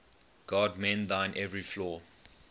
god mend thine every flaw